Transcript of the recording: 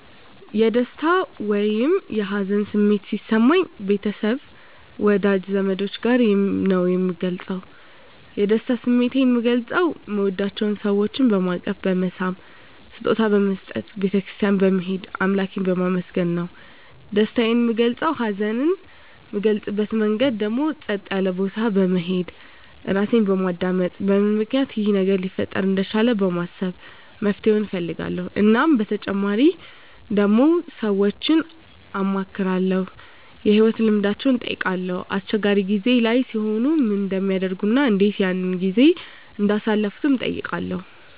የደስታ ወይም የሀዘን ስሜት ሲሰማኝ ቤተሰብ ወዳጅ ዘመዶቸ ጋር ነዉ ምገልፀዉ የደስታ ስሜቴን ምገልፀዉ ምወዳቸዉ ሰወችን በማቀፍ በመሳም ስጦታ በመስጠት ቤተ ክርስትያን በመሄድ አምላኬን በማመስገን ነዉ ደስታየን ምገልፀዉ ሀዘኔን ምገልፅበት መንገድ ደግሞ ፀጥ ያለ ቦታ በመሄድ ራሴን በማዳመጥ በምን ምክንያት ይሄ ነገር ሊፈጠር እንደቻለ በማሰብ መፍትሄዉን እፈልጋለዉ እናም በተጨማሪ ደግሞ ሰወችን አማክራለዉ የህይወት ልምዳቸዉን እጠይቃለዉ አስቸጋሪ ጊዜ ላይ ሲሆኑ ምን እንደሚያደርጉ እና እንዴት ያን ጊዜ እንዳሳለፉትም እጠይቃለዉ